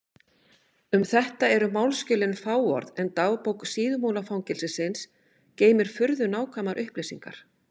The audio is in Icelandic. Um þetta eru málsskjölin fáorð en dagbók Síðumúlafangelsisins geymir furðu nákvæmar upplýsingar.